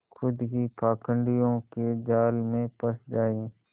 खुद ही पाखंडियों के जाल में फँस जाए